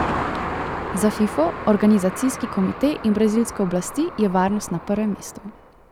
Za Fifo, organizacijski komite in brazilske oblasti je varnost na prvem mestu.